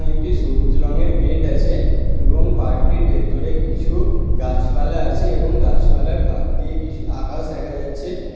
একটি সবুজ রঙের গেট আছে এবং পার্কটির ভেতরে কিছু গাছপালা আছে এবং গাছপালার ফাঁক দিয়ে কিছু আকাশ দেখা যাচ্ছে।